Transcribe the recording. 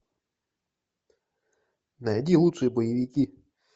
найди лучшие боевики